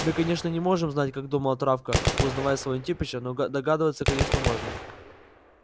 мы конечно не можем знать как думала травка узнавая своего антипыча но догадываться конечно можно